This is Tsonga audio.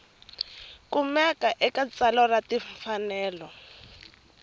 kumekaka eka tsalwa ra timfanelo